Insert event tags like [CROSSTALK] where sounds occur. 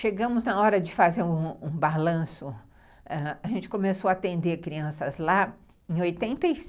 Chegamos na hora de fazer um balanço ãh, a gente começou a atender crianças lá em oitenta [UNINTELLIGIBLE]